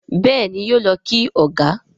Béèni yóò ló kí ọgá.